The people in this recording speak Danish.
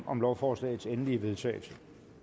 om lovforslagets endelige vedtagelse